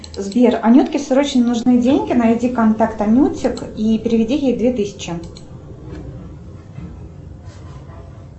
сбер анютке срочно нужны деньги найди контакт анютик и переведи ей две тысячи